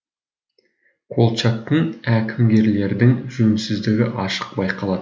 колчактың әкімгерлердің жөнсіздігі ашық байқалады